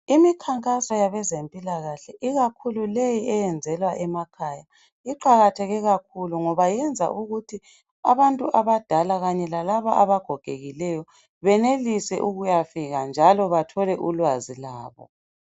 Imikhankaso yabezempilakahle, ikakhulu le eyenzelwa emakhaya, iqakatheke kakhulu ngoba iyenza ukuthi abantu abadala kanye lalabo abagogekileyo benelise ukuyofika, njalo bathole ulwazi labo.